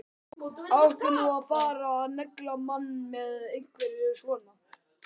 Átti nú að fara að negla mann með einhverju svona?